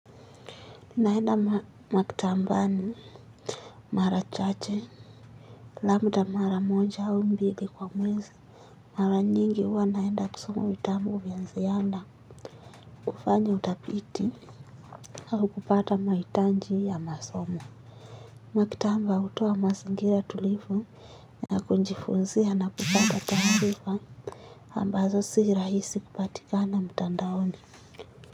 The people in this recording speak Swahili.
Ninaenda maktabani mara chache, labda mara moja au mbili kwa mwezi. Mara nyingi wanaenda kusoma vitabu vya ziada kufanya utafiti au kupata mahitaji ya masomo. Maktaba hutoa mazingira tulivu ya kujifunzia na kupata taarifa ambazo si rahisi kupatikana mtandaoni.